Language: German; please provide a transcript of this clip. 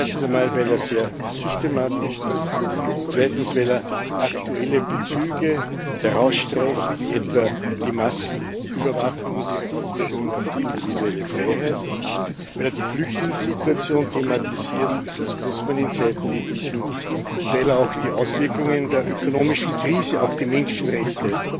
Erstens einmal, weil er sehr systematisch ist, zweitens, weil er aktuelle Bezüge herausstreicht, wie etwa die Massenüberwachung und ihre Auswirkungen auf die individuelle Freiheit, weil er die Flüchtlingssituation thematisiert das muss man in Zeiten wie diesen und weil er auch die Auswirkungen der ökonomischen Krise auf die Menschenrechte